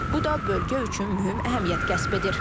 Bu da bölgə üçün mühüm əhəmiyyət kəsb edir.